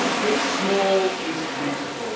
But small is beautiful.